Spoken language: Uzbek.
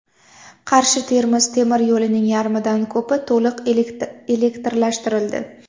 Qarshi Termiz temir yo‘lining yarmidan ko‘pi to‘liq elektrlashtirildi.